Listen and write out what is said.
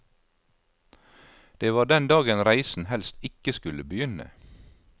Det var den dagen reisen helst ikke skulle begynne.